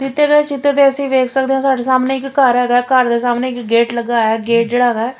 ਦਿੱਤੇ ਗਏ ਚਿੱਤਰ ਵਿੱਚ ਅਸੀਂ ਦੇਖ ਸਕਦੇ ਨੇ ਸਾਡੇ ਸਾਹਮਣੇ ਇੱਕ ਘਰ ਹੈਗਾ ਘਰ ਦੇ ਸਾਹਮਣੇ ਇੱਕ ਗੇਟ ਲੱਗਾ ਹੈਗਾ ਗੇਟ ਜਿਹੜਾ ਹੈਗਾ --